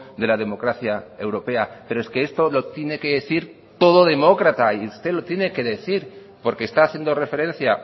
de la democracia europea pero es que esto lo tiene que decir todo demócrata y usted lo tiene que decir porque está haciendo referencia